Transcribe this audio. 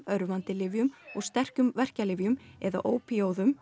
örvandi lyfjum og sterkum verkjalyfjum eða